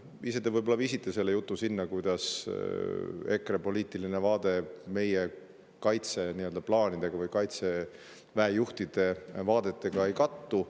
Ise te viisite jutu sinna, kuidas EKRE poliitiline vaade meie kaitseplaanidega või Kaitseväe juhtide vaadetega ei kattu.